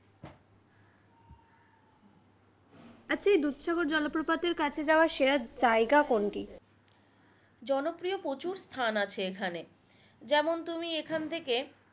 আচ্ছা এই দুধ সাগর জলপ্রপাতের কাছে যাওয়ার সেরা জায়গা কোনটি?